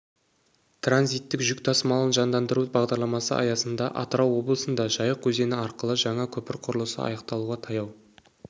транзиттік жүк тасымалын жандандыру бағдарламасы аясында атырау облысында жайық өзені арқылы жаңа көпір құрылысы аяқталуға таяу